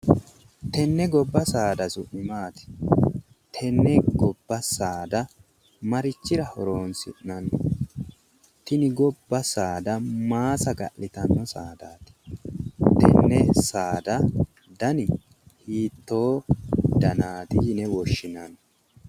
Tenne gobba saada su'mi maati? Tenne gobba saada marichira horonsi'nanni? Tini gibba saada maa saga'litanno saadaati? Tenne saada dani hiittoo danaati yine woshshinanni?